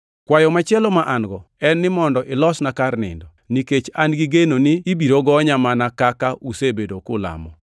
Kwayo machielo ma an-go en ni mondo ilosna kar nindo, nikech an-gi geno ni ibiro gonya mana kaka usebedo kulamo.